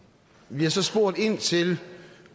vi har så spurgt ind til